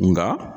Nka